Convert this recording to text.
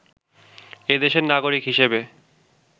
এদেশের নাগরিক হিসেবে